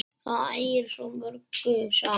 Það ægir svo mörgu saman.